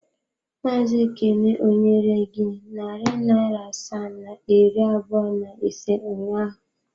Maazị Ekene ọ nyere gị narị naira asaa na iri abụọ na ise ụnyaahụ?